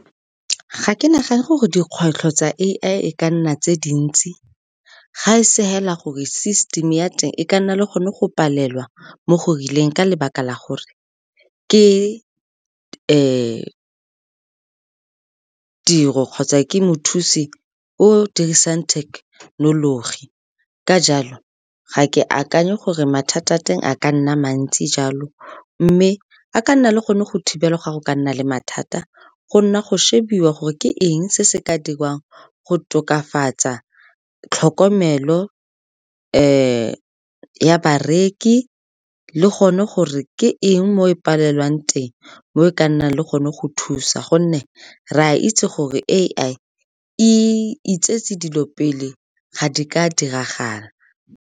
Ga ke nagane gore dikgwetlho tsa A_I e ka nna tse dintsi, ga e se fela gore system ya teng e ka nna le gone go palelwa mo go rileng ka lebaka la gore ke tiro kgotsa ke mothusi o dirisang technology. Ka jalo, ga ke akanye gore mathata a teng a ka nna mantsi jalo, mme a ka nna le gone go thibela ga go ka nna le mathata, go nna go shebiwe gore ke eng se se ka dirwang go tokafatsa tlhokomelo ya bareki, le gone gore ke eng mo e palelwang teng mo e ka nnang le gone go thusa, gonne re a itse gore A_I e itsetse dilo pele ga di ka diragala.